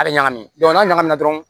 A bɛ ɲagami n'a ɲagami na dɔrɔn